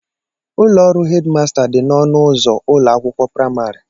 Ụlọ ọrụ headmaster dị n'ọnụ ụzọ ụlọ akwụkwọ praịmarị